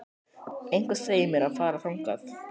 Eitthvað sem segir mér að fara þangað.